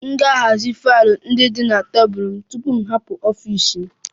M ga-ahazi faịlụ ndị dị na tebụl m tupu m hapụ ọfịs m